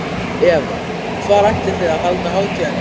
Eva, hvar ætlið þið að halda hátíðina í ár?